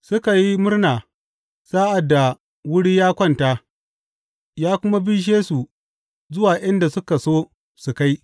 Suka yi murna sa’ad da wuri ya kwanta, ya kuma bishe su zuwa inda suka so su kai.